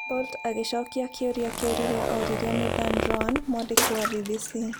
Bolt agĩcokia kĩũria kĩu rĩrĩa oririo nĩ Dan Roan, mwandĩki wa BBC.